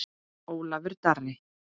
Ólafur Darri.